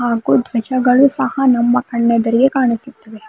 ಹಾಗೂ ಧ್ವಜಗಳು ಸಹ ನಮ್ಮ ಕಣ್ಣೆದುರಿಗೆ ಕಾಣಿಸುತ್ತವೆ.